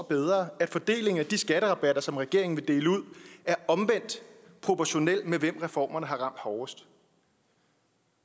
bedre at fordelingen af de skatterabatter som regeringen vil dele ud er omvendt proportional med hvem reformerne har ramt hårdest